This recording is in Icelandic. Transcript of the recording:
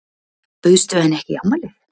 Bauðstu henni ekki í afmælið?